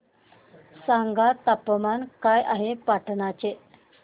सांगा तापमान काय आहे पाटणा चे